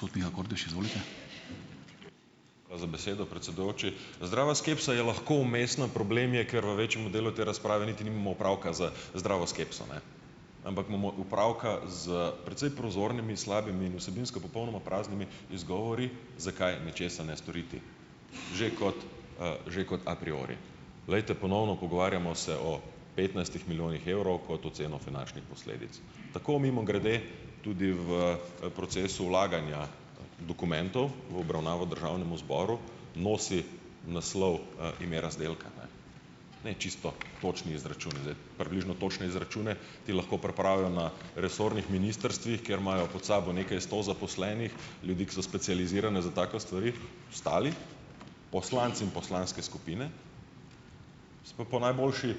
Hvala za besedo, predsedujoči. Zdrava skepsa je lahko umestna. Problem je, ker v večjem delu te razprave niti nimamo opravka z zdravo skepso, ne. Ampak imamo opravka s precej prozornimi in slabimi in vsebinsko popolnoma praznimi izgovori, zakaj nečesa ne storiti. Že kot, že kot a priori. Glejte, ponovno, pogovarjamo se o petnajstih milijonih evrov kot oceno finančnih posledic. Tako mimogrede tudi v, proces vlaganja dokumentov v obravnavo državnemu zboru nosi naslov, ime razdelka, ne. Ne čisto točni izračuni, zdaj približno točne izračune ti lahko pripravijo na resornih ministrstvih, kjer imajo pod sabo nekaj sto zaposlenih ljudi, ki so specializirani za take stvari. Ostali, poslanci in poslanske skupine, se pa po najboljši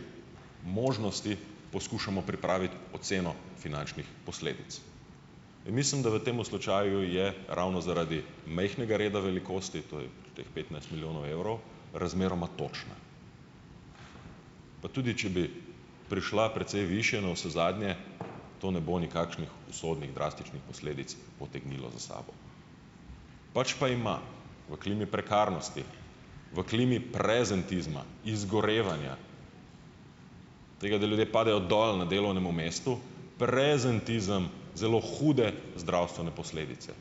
možnosti poskušamo pripraviti oceno finančnih posledic. In mislim, da v tem slučaju je ravno zaradi majhnega reda velikosti, to je teh petnajst milijonov evrov, razmeroma točna. Pa tudi če bi prišla precej višje, navsezadnje to ne bo nikakršnih usodnih drastičnih posledic potegnilo za sabo. Pač pa ima v klimi prekarnosti, v klimi prezentizma, izgorevanja, tega, da ljudje padejo dol na delovnem mestu, prezentizem zelo hude zdravstvene posledice.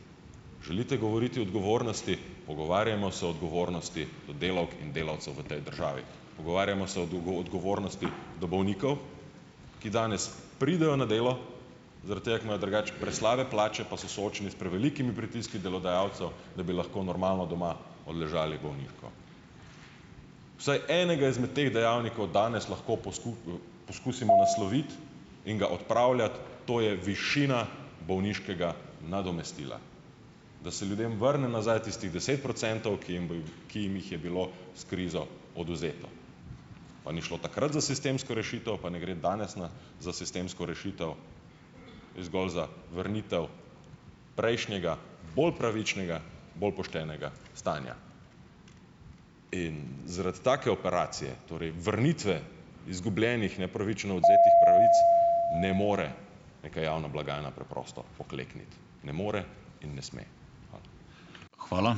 Želite govoriti o odgovornosti, pogovarjajmo se o odgovornosti do delavk in delavcev v tej državi. Pogovarjajmo se o odgovornosti do bolnikov, ki danes pridejo na delo zaradi tega, ker imajo drugače preslabe plače, pa so soočeni s prevelikimi pritiski delodajalcev, da bi lahko normalno doma odležali bolniško. Vsaj enega izmed teh dejavnikov danes lahko poskusimo nasloviti in ga odpravljati, to je višina bolniškega nadomestila. Da se ljudem vrne nazaj tistih deset procentov, ki jim bo jih ki jim jih je bilo s krizo odvzeto. Pa ni šlo takrat za sistemsko rešitev, pa ne gre danes na za sistemsko rešitev, gre zgolj za vrnitev prejšnjega bolj pravičnega, bolj poštenega stanja. In zaradi take operacije, torej vrnitve izgubljenih, nepravično odvzetih pravic ne more neka javna blagajna preprosto poklekniti, ne more in ne sme. Hvala.